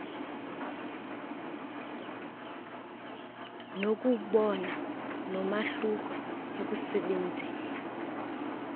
nokuwubona nomahluko ekusebenzieni